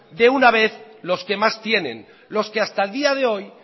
de una vez los que más tienen los que hasta el día de hoy